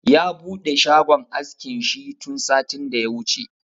Ya buɗe shagon askin shi tun satin da ya wuce